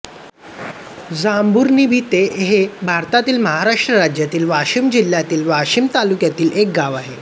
जांभरुणभिते हे भारतातील महाराष्ट्र राज्यातील वाशिम जिल्ह्यातील वाशीम तालुक्यातील एक गाव आहे